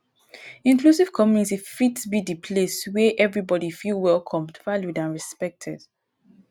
inclusive community fit be di place wey everybody feel welcome valued and respected.